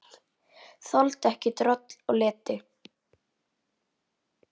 Þoldi ekki droll og leti.